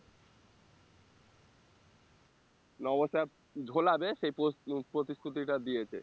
নব sir ঝোলাবে সেই প~ প্রতিশ্রুতি টা দিয়েছে